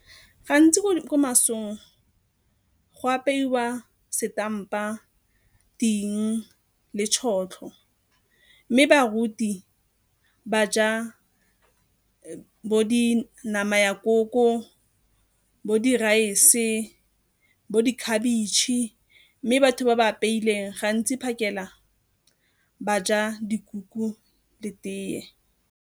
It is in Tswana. Gantsi ko masong go apeiwa setampa, ting le tšhotlho mme baruti ba ja bo di nama ya koko, bo di-rice, bo di khabetšhe mme batho ba ba apeileng gantsi phakela ba ja dikuku le tee.